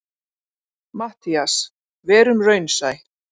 MATTHÍAS: Verum raunsæ.